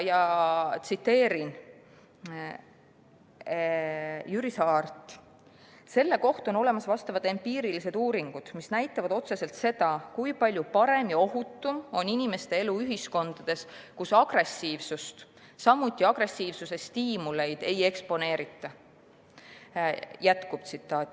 Tsiteerin Jüri Saart: "Selle kohta on olemas vastavad empiirilised uuringud, mis näitavad otseselt seda, kui palju parem ja ohutum on inimeste elu ühiskondades, kus agressiivsust ei eksponeerita.